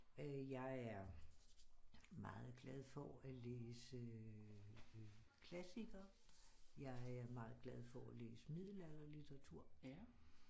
Jeg er meget glad for at læse klassikere jeg er meget glad for at læse middelalderlitteratur